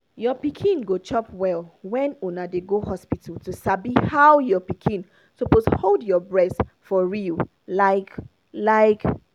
your pikin go chop well when una dey go hospital to sabi how your pikin suppose hold your breast for real like like